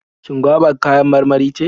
Shin goba kayan marmari ce?